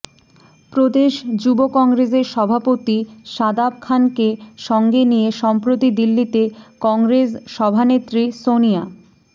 প্রদেশ যুব কংগ্রেসের সভাপতি শাদাব খানকে সঙ্গে নিয়ে সম্প্রতি দিল্লিতে কংগ্রেস সভানেত্রী সনিয়া